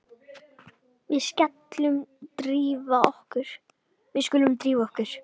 Við skulum drífa okkur.